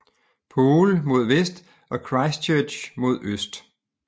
Poole mod vest og Christchurch mod øst